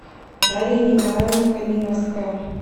дарья николаевна калиновская